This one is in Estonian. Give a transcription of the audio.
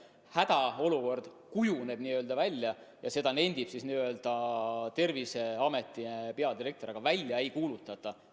Hädaolukord n-ö kujuneb välja ja seda nendib Terviseameti peadirektor, aga välja seda ei kuulutata.